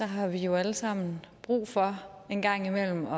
har vi jo alle sammen brug for en gang imellem